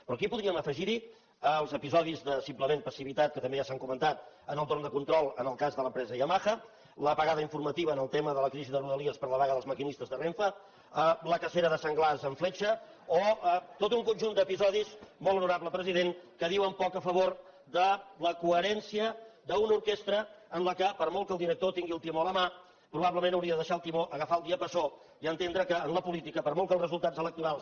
però aquí podríem afegir hi els episodis de simplement passivitat que també s’han comentat en el torn de control en el cas de l’empresa yamaha l’apagada informativa en el tema de la crisi de rodalies per la vaga dels maquinistes de renfe la cacera de senglars amb fletxa o tot un conjunt d’episodis molt honorable president que diuen poc a favor de la coherència d’una orquestra en què per molt que el director tingui el timó a la mà probablement hauria de deixar el timó agafar el diapasó i entendre que en la política per molt que els resultats electorals